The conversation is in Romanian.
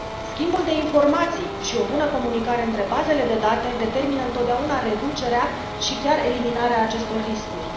Schimbul de informații și o bună comunicare între bazele de date determină întotdeauna reducerea și chiar eliminarea acestor riscuri.